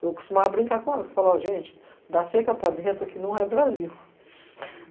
Eu costumava brincar com elas e falar, ó, gente, dar seca para dentro aqui não é Brasil.